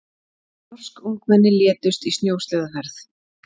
Norsk ungmenni létust í snjósleðaferð